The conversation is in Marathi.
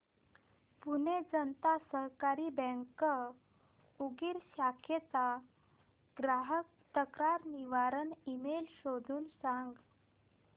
पुणे जनता सहकारी बँक उदगीर शाखेचा ग्राहक तक्रार निवारण ईमेल शोधून सांग